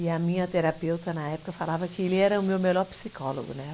E a minha terapeuta na época falava que ele era o meu melhor psicólogo, né?